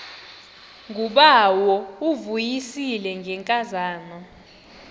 ngubawo uvuyisile ngenkazana